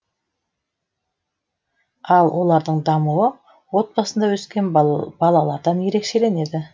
ал олардың дамуы отбасында өскен балалардан ерекшеленеді